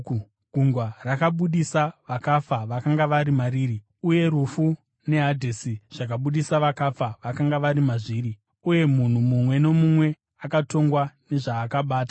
Gungwa rakabudisa vakafa vakanga vari mariri, uye rufu neHadhesi zvakabudisa vakafa vakanga vari mazviri, uye munhu mumwe nomumwe akatongwa sezvaakabata.